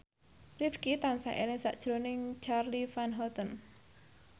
Rifqi tansah eling sakjroning Charly Van Houten